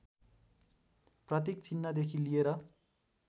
प्रतीक चिह्नदेखि लिएर